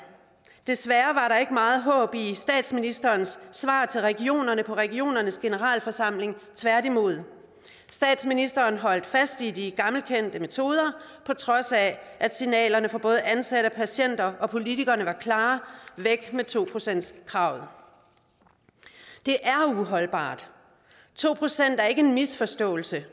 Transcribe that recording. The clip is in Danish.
desværre var der ikke meget håb i statsministerens svar til regionerne på regionernes generalforsamling tværtimod statsministeren holdt fast i de gammelkendte metoder på trods af at signalerne fra både ansatte patienter og politikere var klare væk med to procentskravet det er uholdbart to procent er ikke en misforståelse